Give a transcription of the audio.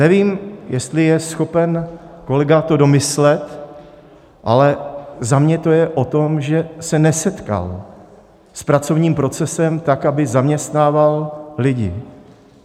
Nevím, jestli je schopen kolega to domyslet, ale za mě je to o tom, že se nesetkal s pracovním procesem, tak aby zaměstnával lidi.